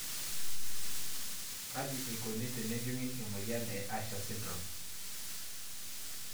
Kaji eikoni tenejunguni emoyian e Usher syndrome?